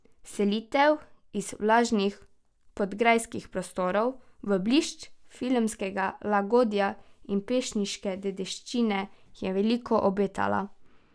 Selitev iz vlažnih podgrajskih prostorov v blišč filmskega lagodja in pesniške dediščine je veliko obetala.